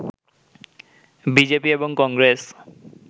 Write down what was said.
BJP এবং কংগেস